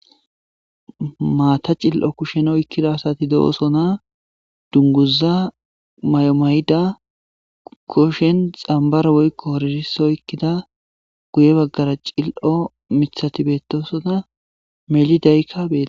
Maata cililo kushen oykkida asati beetosona. dunguza mayo mayida kushen xambaro woyko horirisso oykkida guye baggara cililo miththati beettosona.melidaykka beettees.